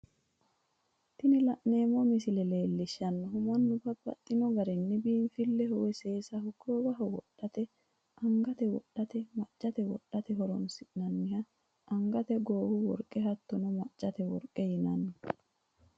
Tini la'neemo misile leellishanohu mannu babaxxino garinni biinifileho woyi seesaho goowoho wodhate angate wodhate, macate wodhate horonsiranohha angatenna goowu woriqe hattonno macate woriqe yinanni